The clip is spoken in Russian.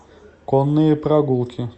конные прогулки